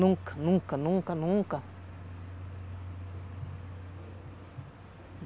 Nunca, nunca, nunca, nunca.